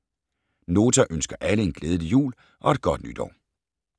Nota ønsker alle en glædelig jul og et godt nytår.